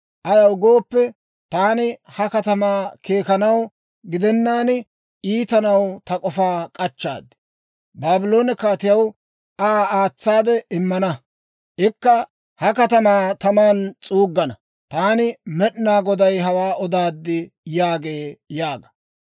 Ayaw gooppe, taani ha katamaw keekanaw gidennaan iitanaw ta k'ofaa k'achchaad. Baabloone kaatiyaw Aa aatsaade immana; ikka ha katamaa taman s'uuggana. Taani Med'inaa Goday hawaa odaad› yaagee» yaaga.